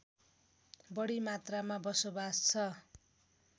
बढी मात्रामा बसोवास छ